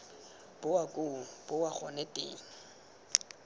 boa koo boa gone teng